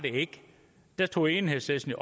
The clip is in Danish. da tog enhedslisten